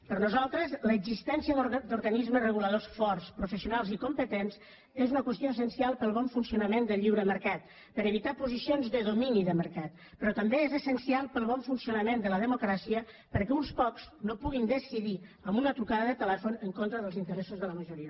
per nosaltres l’existència d’organismes reguladors forts professionals i competents és una qüestió essencial per al bon funcionament del lliure mercat per a evitar posicions de domini de mercat però també és essencial per al bon funcionament de la democràcia perquè uns pocs no puguin decidir amb una trucada de telèfon en contra dels interessos de la majoria